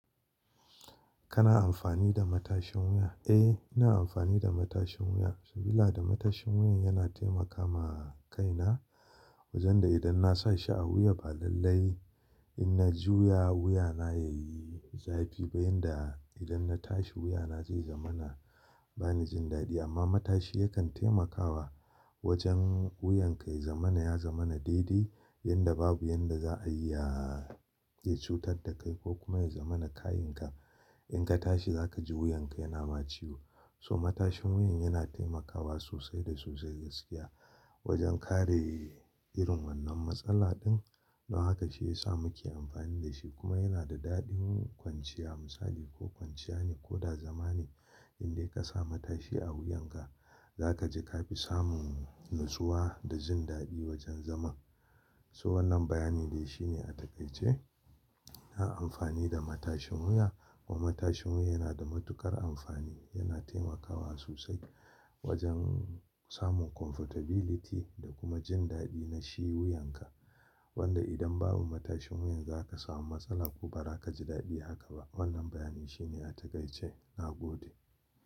Kana amfani da matashin wuya? Eh, ina amfani da matashin wuya. Sabila da matashin wuyan yana taimaka ma kaina. Wajen da idan na sa shi a wuya, ba lallai in na juya wuyana ya yi zafi ba, yanda idan na tashi wuyana zai zamana bani jin daɗi. Amma matashi yakan taimakawa wajen wuyanka ya zamana, ya zamana daidai yanda babu yanda za a iya ya cutar da kai ko kuma ya zamana kayin ka. In ka tashi za ka ji wuyanka yana ma ciwo. So matashin wuyan yana taimakawa sosai da sosai gaskiya wajen kare irin wannan matsala din. Don haka shi ya sa muke amfani da shi. Kuma yana da daɗin kwanciya misali ko kwanciya ne ko da zama ne, indai ka sa matashi a wuyanka za ka ji ka fi samun natsuwa da jin daɗi wajen zaman. So wannan bayani dai shine a takaice, na amfani da matashin wuya kuma matashin wuya yana da matuƙar amfani. Yana taimakawa sosai wajen samun comfortability da kuma jin daɗi na shi wuyanka. Wanda idan babu matashin wuyan za ka samu matsala ko ba za ka ji daɗi haka ba. Wannan bayani shine a takaice, na gode.